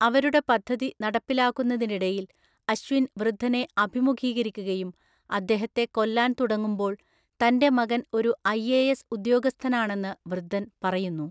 അവരുടെ പദ്ധതി നടപ്പിലാക്കുന്നതിനിടയിൽ അശ്വിൻ വൃദ്ധനെ അഭിമുഖീകരിക്കുകയും അദ്ദേഹത്തെ കൊല്ലാൻ തുടങ്ങുമ്പോൾ തന്‍റെ മകൻ ഒരു ഐഎഎസ് ഉദ്യോഗസ്ഥനാണെന്ന് വൃദ്ധൻ പറയുന്നു.